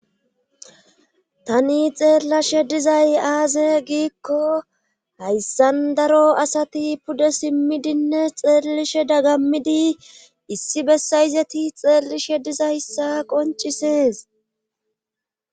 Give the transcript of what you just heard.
Tani xeellashe dizay aaze giikko hayssan daro asati pude simmidinne xeellishe dagamidi issi bessayizeti xeellishe diza hissa qoncisees